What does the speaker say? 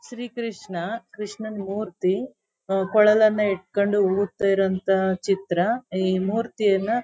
ಶ್ರೀ ಕೃಷ್ಣ ಕೃಷ್ಣನ್ ಮೂರ್ತಿ ಕೊಳಲನ ಇಡ್ಕೊಂಡು ಊದ್ತಾಇರುವಂತ ಚಿತ್ರ ಈ ಮೂರ್ತಿಯನ್ನ --